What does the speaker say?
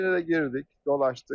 İçinə də girdik, dolaşdıq.